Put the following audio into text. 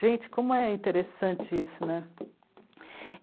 Gente, como é interessante isso, né?